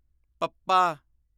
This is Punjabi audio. ਪੱਪਾ